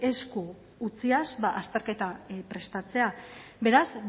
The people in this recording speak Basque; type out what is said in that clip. esku utziaz azterketa prestatzea beraz